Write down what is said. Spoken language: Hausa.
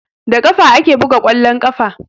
Da ƙafa ake buga ƙwallon ƙafa